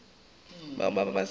bao ba be ba se